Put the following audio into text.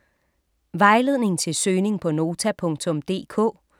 Vejledning til søgning på Nota.dk: